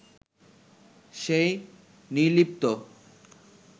সেই নির্লিপ্ত